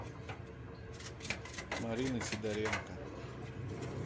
марины сидоренко